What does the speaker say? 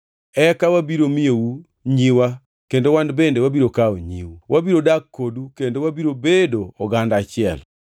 Eka wabiro miyou nyiwa kendo wan bende wabiro kawo nyiu. Wabiro dak kodu kendo wabiro bedo oganda achiel.